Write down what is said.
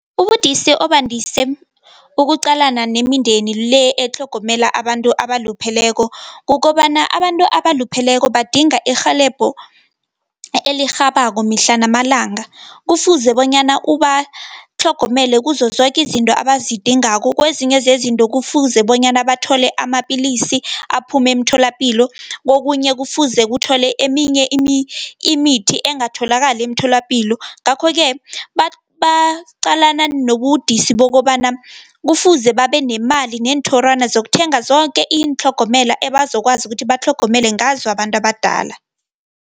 Ubudisi obandise ukuqalana nemindeni le, etlhogomela abantu abalupheleko, kukobana abantu abalupheleko badinga irhelebho elirhabako mihla namalanga. Kufuze bonyana ubatlhogomele kuzozoke izinto abazidingako, kwezinye zezinto kufuze bonyana bathole amapilisi aphume emitholapilo. Kokunye kufuze kuthole eminye imithi engatholakali emtholapilo. Ngakho-ke baqalana nobudisi bokobana kufuze babenemali, neenthorwana zokuthenga zoke iintlhogomela ebazokwazi ukuthi batlhogomele ngazo abantu abadala.